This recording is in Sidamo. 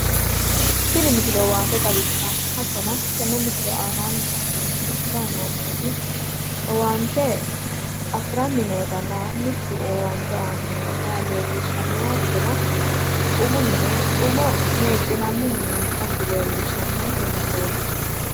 tini misile owaante xawissanno hattono tenne misile aanaanni la'neemmohu lamu ma'nooti owaante afiranni nootanna mittu aanni noota leellishshannonke misileeti hattono umo meexxinaniwa ikkasi leellishshannonke misileeti.